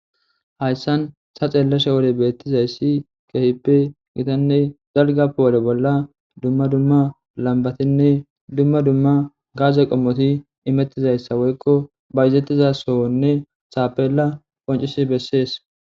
Haysan taxelashe wode betizaysikehippe dalga gidiza duma duma lambatinne duma duma gase qomoti woykko bayzetida sohotinne tappela qoncisi besizasa